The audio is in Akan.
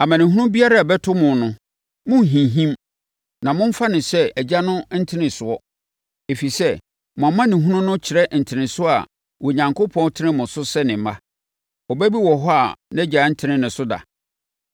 Amanehunu biara a ɛbɛto mo no, monnhinhim na momfa no sɛ Agya no ntenesoɔ, ɛfiri sɛ, mo amanehunu no kyerɛ ntenesoɔ a Onyankopɔn retene mo so sɛ ne mma. Ɔba bi wɔ hɔ a nʼagya ntene ne so da?